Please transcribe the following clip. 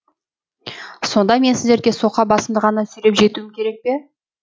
сонда мен сіздерге соқа басымды ғана сүйреп жетуім керек пе